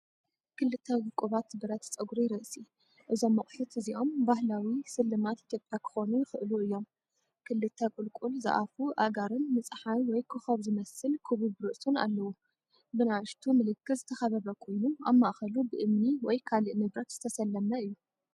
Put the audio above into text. ክልተ ውቁባት ብረት ጸጉሪ ርእሲ። እዞም ኣቑሑት እዚኦም ባህላዊ ስልማት ኢትዮጵያ ክኾኑ ይኽእሉ እዮም። ክልተ ቁልቁል ዝኣፉ ኣእጋርን ንጸሓይ ወይ ኮኾብ ዝመስል ክቡብ ርእሱን ኣለዎ። ብንኣሽቱ ምልክት ዝተኸበበ ኮይኑ ኣብ ማእከሉ ብእምኒ ወይ ካልእ ንብረት ዝተሰለመ እዩ።